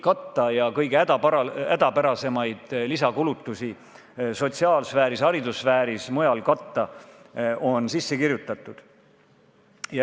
Äralangevate tulude tõttu oleks muidu raske katta ka kõige hädapärasemaid lisakulutusi sotsiaalsfääris, haridussfääris ja mujal.